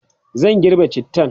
zan girbe cittan